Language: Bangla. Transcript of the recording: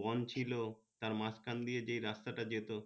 বন ছিলো তার মাঝখান দিয়ে যে রাস্তা টা যেতো